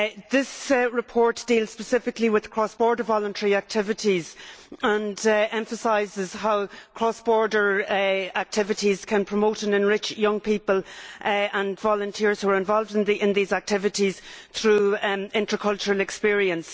This report deals specifically with cross border voluntary activities and emphasises how cross border activities can promote and enrich young people and volunteers who are involved in these activities through intercultural experience.